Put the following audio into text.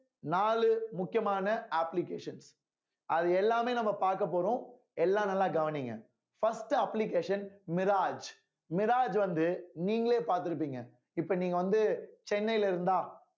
நாலு முக்கியமான applications அது எல்லாமே நம்ம பார்க்கப் போறோம் எல்லாம் நல்லா கவனிங்க first application mirage mirage வந்து நீங்களே பார்த்திருப்பீங்க இப்ப நீங்க வந்து சென்னையில இருந்தா